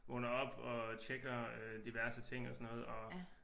Vågner op og tjekker diverse ting og sådan noget og